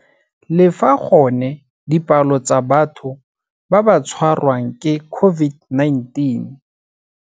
Le fa gone dipalo tsa batho ba ba tshwarwang ke COVID-19.